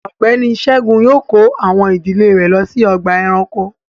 Ọgbẹni Ṣẹ̀gún yóò kọ̀ awọn ìdílẹ̀ rè ló sí ọ̀gbà ẹ̀ránkò